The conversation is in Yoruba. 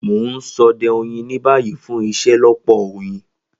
Mo n sode oyin ni bayi fun iṣelọpọ oyin.